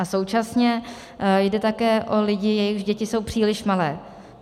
A současně jde také o lidi, jejichž děti jsou příliš malé.